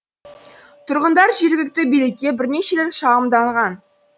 тұрғындар жергілікті билікке бірнеше рет шағымданған